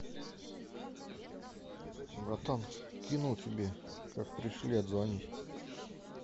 братан кинул тебе как пришли отзвонись